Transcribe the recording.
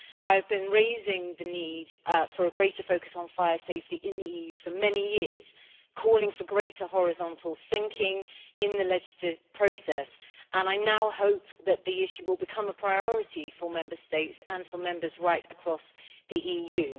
I have been raising the need for a greater focus on fire safety in the EU for many years, calling for greater horizontal thinking in the legislative process and I now hope that the issue will become a priority for Member States and for Members right across the EU.